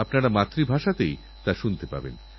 আর এরকম দৃষ্টান্ত অনেকেইরেখেছেন